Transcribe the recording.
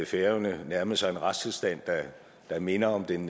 færøerne nærmede sig en retstilstand der minder om den